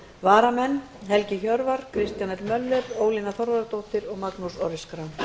varamenn eru helgi hjörvar kristján l möller ólína þorvarðardóttir og magnús orri schram